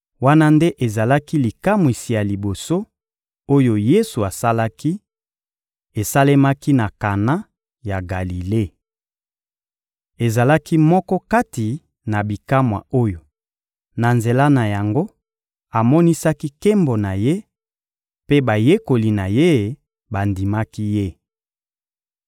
Wana nde ezalaki likamwisi ya liboso, oyo Yesu asalaki: esalemaki na Kana ya Galile. Ezalaki moko kati na bikamwa oyo, na nzela na yango, amonisaki nkembo na Ye; mpe bayekoli na Ye bandimaki Ye.